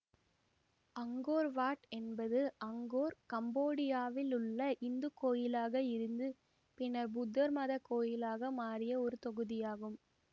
Angkor Wat என்பது Angkor கம்போடியாவில் உள்ள இந்துக்கோயிலாக இருந்து பின்னர் புத்த மத கோயிலாக மாறிய ஒரு தொகுதியாகும்